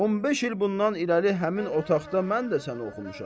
15 il bundan irəli həmin otaqda mən də səni oxumuşam.